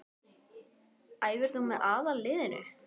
Æfir þú með aðalliðinu?